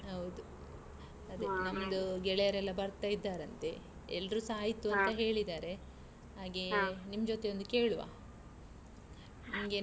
ಹೌದು, ಅದೆ. ನಮ್ದು ಗೆಳೆಯರೆಲ್ಲಾ ಬರ್ತಾ ಇದ್ದಾರಂತೆ. ಎಲ್ರುಸಾ ಆಯ್ತು ಅಂತ ಹೇಳಿದರೆ. ನಿಮ್ ಜೊತೆ ಒಂದು ಕೇಳುವ, ನಿಮ್ಗೆ.